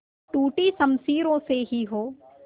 टूटी शमशीरों से ही हो